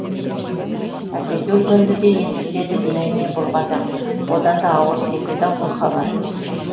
әкесі өлгенді де естіртеді демей ме бұл қазақ одан да ауыр секілді ау бұл хабар